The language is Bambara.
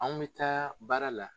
An bɛ taa baara la